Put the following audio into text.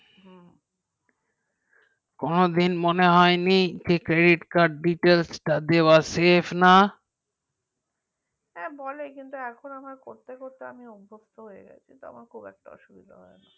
কোনো দিন মনে হয়নি credit card details টা দেওয়া শেষ না হ্যাঁ বলে কিন্তু এখন আমি করতে করতে আমি অভ্যস্ত হয়ে গেছি তো আমার খুব একটা অসুবিধা হয় না